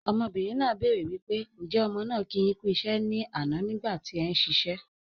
Ọmọbìnrin náà béèrè wípé "Ǹ jẹ̀ ọmọ náà kì yín kú iṣẹ́ ni àná nígbà tí ẹ̀ ń ṣe iṣẹ́."